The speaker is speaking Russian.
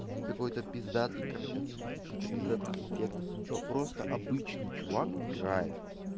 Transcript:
не какой-то пиздатой картинки ни каких-то пиздатых эффектов ничего просто обычный чувак играет